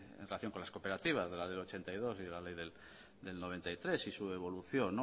en relación con las cooperativas la ley de mil novecientos ochenta y dos y la ley de mil novecientos noventa y tres y su evolución